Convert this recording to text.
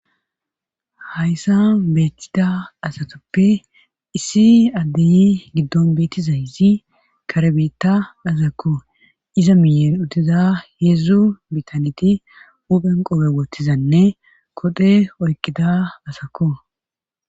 Hayssa beettida asatoppe issi addeyi giddon beettizayzi karebetta azakko iza miyer utiza heedzdzu bitaneti uphen qobe wottizanne kodhe oyqqida asakko